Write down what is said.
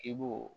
I b'o